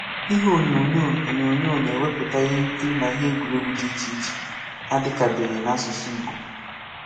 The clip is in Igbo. Ihe onyonyo onyonyo na-ewepụta ihe nkiri na ihe egwuregwu dị iche iche adịkabeghị n’asụsụ Ìgbò.